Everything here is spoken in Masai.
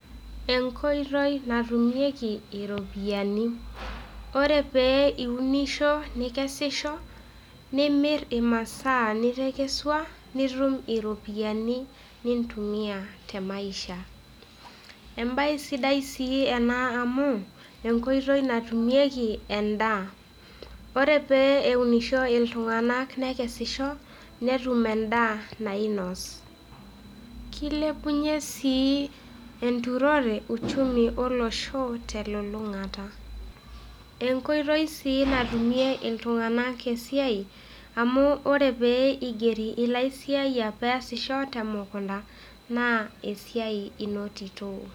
Enkoitoi natumieki iropiyiani, ore pee iunisho nikeshisho nimirr imasaa nitakesheshwa nitum iropiyiani nintumiyaa temaisha, embaye sidai sii ena amuu enkoitoi natumieki endaa, ore pee eunisho ltunganak nekeshisho netum endaa nainos, keilepunyee inturore uchumi eloshoo telulungata, enkoitoi sii natumie ltunganak esiaai amuu ore peeigeri lasiaaiyak peasisho te mukunta naa esiaai enotito.